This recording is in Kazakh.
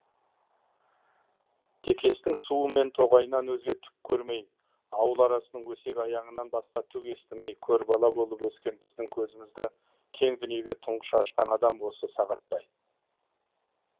текестің суы мен тоғайынан өзге түк көрмей ауыл арасының өсек аяңынан басқа түк естімей көрбала болып өскен біздің көзімізді кең дүниеге тұңғыш ашқан адам осы сағатбай